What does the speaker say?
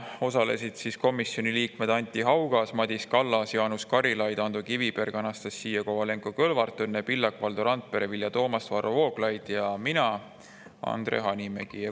Osalesid komisjoni liikmed Anti Haugas, Madis Kallas, Jaanus Karilaid, Ando Kiviberg, Anastassia Kovalenko-Kõlvart, Õnne Pillak, Valdo Randpere, Vilja Toomast, Varro Vooglaid ja mina, Andre Hanimägi.